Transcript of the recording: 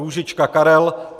Růžička Karel